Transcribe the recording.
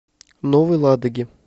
новой ладоги